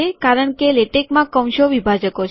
કારણ કે લેટેકમાં કૌંસો વિભાજકો છે